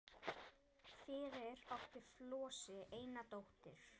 Fyrir átti Flosi eina dóttur